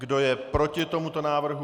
Kdo je proti tomuto návrhu?